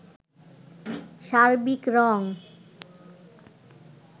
সার্বিক রং